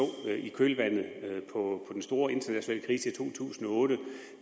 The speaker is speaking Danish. i kølvandet på den store internationale krise i to tusind og otte